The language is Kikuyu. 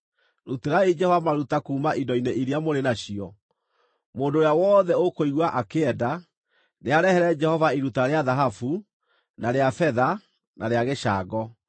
Rutĩrai Jehova maruta kuuma indo-inĩ iria mũrĩ nacio. Mũndũ ũrĩa wothe ũkũigua akĩenda, nĩarehere Jehova iruta rĩa thahabu, na rĩa betha na rĩa gĩcango;